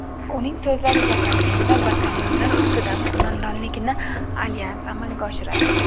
Uning so‘zlariga qaraganda, batalyonlar ustidan qo‘mondonlikni alyans amalga oshiradi.